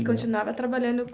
E continuava trabalhando.